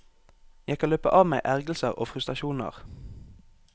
Jeg kan løpe av meg ergrelser og frustrasjoner.